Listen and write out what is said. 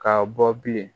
Ka bɔ bilen